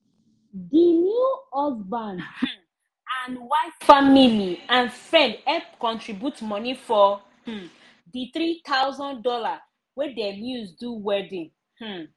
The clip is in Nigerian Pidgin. the new husband um and wife family and friend help contribute moni for um the three thousand dollars wey dem use do wedding um